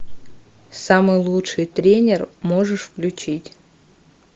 самый лучший тренер можешь включить